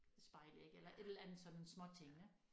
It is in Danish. Spejlæg eller et eller andet sådan småtingene